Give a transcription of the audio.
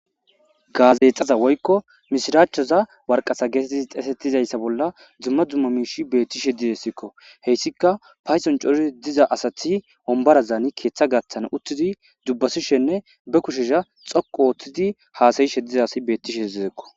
gaazeexaza woykko mishiraachchoza warqasa getettii xeesetizayssa bolla dzumma dzumma miishi beetti she didessikko heyssika payson cori diza asathi ombarazaani keeththa gatthan uttidi dubbasishenne be kushesha xoqu ooththidi haasayishe diza asi beettishe hedezekko